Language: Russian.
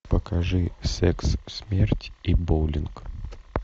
покажи секс смерть и боулинг